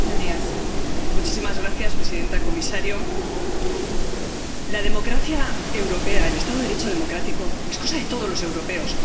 Señora presidenta, comisario, la democracia europea, el Estado de Derecho democrático es cosa de todos los europeos.